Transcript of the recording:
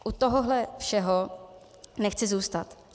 U tohohle všeho nechci zůstat.